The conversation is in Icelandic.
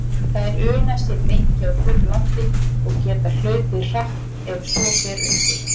Þær una sér lengi á þurru landi og geta hlaupið hratt ef svo ber undir.